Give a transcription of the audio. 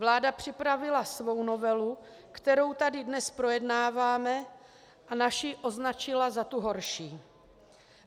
Vláda připravila svou novelu, kterou tady dnes projednáváme, a naši označila za tu horší.